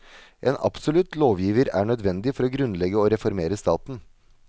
En absolutt lovgiver er nødvendig for å grunnlegge og å reformere staten.